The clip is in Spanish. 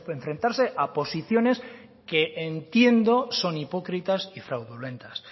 enfrentarse a posiciones que entiendo son hipócritas y fraudulentas